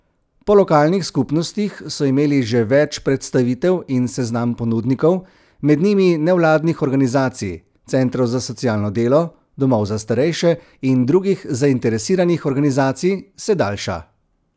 Po lokalnih skupnostih so imeli že več predstavitev in seznam ponudnikov, med njimi nevladnih organizacij, centrov za socialno delo, domov za starejše in drugih zainteresiranih organizacij, se daljša.